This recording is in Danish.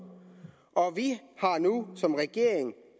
og vi har nu som regering